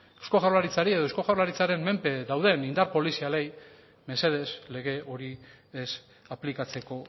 eusko jaurlaritzari edo eusko jaurlaritzen menpe dauden indar polizialei mesedez lege hori ez aplikatzeko